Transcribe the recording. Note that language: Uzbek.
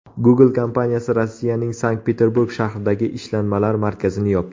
Google kompaniyasi Rossiyaning Sankt-Peterburg shahridagi ishlanmalar markazini yopdi.